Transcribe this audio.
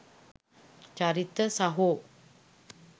චරිත සහෝ?